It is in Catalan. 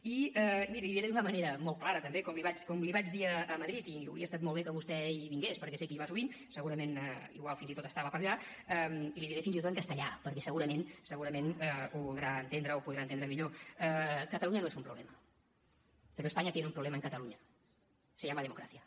i miri l’hi diré d’una manera molt clara també com l’hi vaig dir a madrid i hauria estat molt bé que vostè hi vingués perquè sé que hi va sovint segurament potser fins i tot estava per allà i l’hi diré fins i tot en castellà perquè segurament segurament ho podrà entendre millor cataluña no es un problema pero españa tiene un problema en cataluña se llama democracia